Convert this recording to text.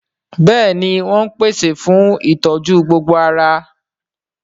Bẹ́ẹ̀ni wọ́n ń pèsè fún ìtọ́jú gbogbo ara